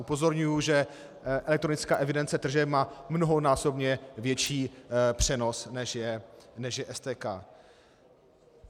Upozorňuji, že elektronická evidence tržeb má mnohonásobně větší přenos, než je STK.